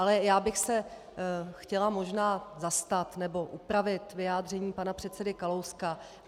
Ale já bych se chtěla možná zastat, nebo upravit vyjádření pana předsedy Kalouska.